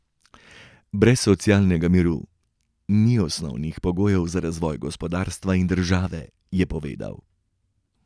Brez socialnega miru ni osnovnih pogojev za razvoj gospodarstva in države, je povedal.